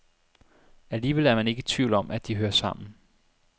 Alligevel er man ikke i tvivl om, at de hører sammen.